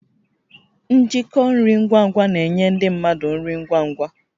Njikọ nri ngwa ngwa na-enye ndị mmadụ nri ngwa ngwa